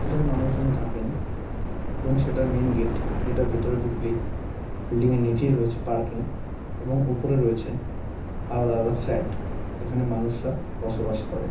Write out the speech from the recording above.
এখানে মানুষজন থাকেন এবং সেটার মেইন গেট যেটা ভেতরে ঢুকলেই বিল্ডিং -এর নীচেই রয়েছে পার্কিং এবং ওপরে রয়েছেন আলাদা আলাদা ফ্লাট যেখানে মানুষরা বসবাস করে।